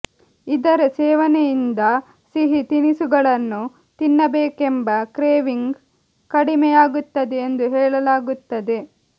ಇದರ ಸೇವನೆಯಿಂದ ಸಿಹಿ ತಿನಿಸುಗಳನ್ನು ತಿನ್ನಬೇಕೆಂಬ ಕ್ರೇವಿಂಗ್ ಕಡಿಮೆಯಾಗುತ್ತದೆ ಎಂದು ಹೇಳಲಾಗುತ್ತದೆ